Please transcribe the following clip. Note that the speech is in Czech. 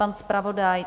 Pan zpravodaj?